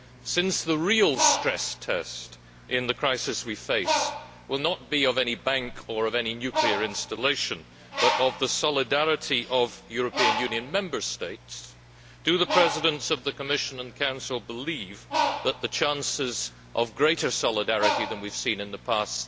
Since the real stress test in the crisis we face will not be of any bank or any nuclear installation, but of the solidarity of European Union Member States, do the Presidents of the Commission and Council believe that there are good chances of greater solidarity than we have seen in the past?